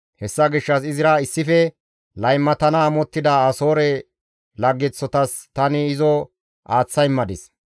«Hessa gishshas izira issife laymatana amottida Asoore laggeththotas tani izo aaththa immadis.